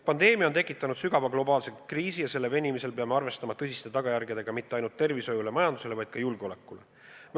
Pandeemia on tekitanud sügava globaalse kriisi ja selle venimisel peame arvestama tõsiste tagajärgedega mitte ainult tervishoiule ja majandusele, vaid ka julgeolekule.